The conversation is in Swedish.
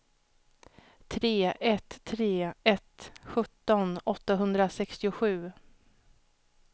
tre ett tre ett sjutton åttahundrasextiosju